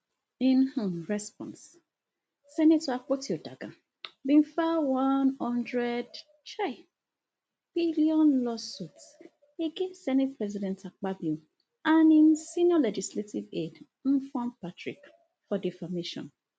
in um response senator akpotiuduaghan bin file one hundred um billion lawsuit against senate president akpabio and im senior legislative aide mfon patrick for defamation